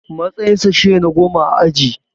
Matsayinsa shine na goma a aji.